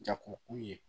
Jagokun ye